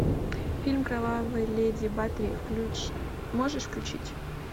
фильм кровавая леди батори можешь включить